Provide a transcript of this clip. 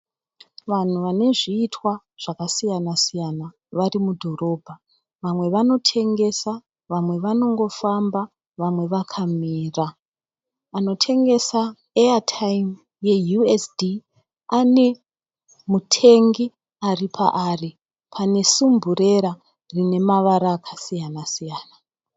Vanhu vane zviitwa zvakasiyana siyana vari mudhorobha vamwe vanotengesa vamwe vanongofamba vamwe vakamira anotengesa eya taimu ye USD ane mutengi ari paari pane sumburera ine mavara akasiyana siyana.